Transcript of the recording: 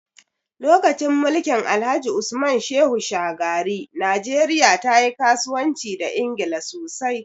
Lokacin mulkin Alhaji Usman Shehu Shagari, najeriya ta yi kasuwanci da Ingila sosai.